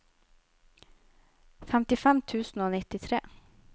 femtifem tusen og nittitre